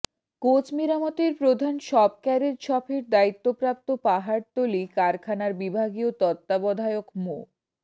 coach মেরামতের প্রধান shop carriage শপের দায়িত্বপ্রাপ্ত পাহাড়তলী কারখানার বিভাগীয় তত্ত্বাবধায়ক মো